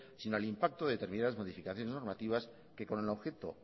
sino al impacto de determinadas modificaciones normativas que